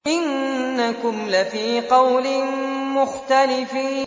إِنَّكُمْ لَفِي قَوْلٍ مُّخْتَلِفٍ